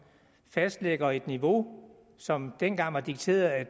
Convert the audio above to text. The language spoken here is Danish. fastlægger et niveau som dengang var dikteret af